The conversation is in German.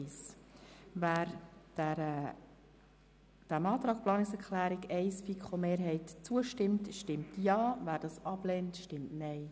Wer dem Abänderungsantrag der FiKo-Mehrheit zustimmt, stimmt Ja, wer diesen ablehnt, stimmt Nein.